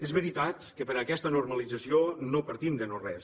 és veritat que per a aquesta normalització no partim de no res